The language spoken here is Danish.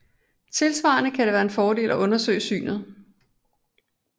Tilsvarende kan det være en fordel at undersøge synet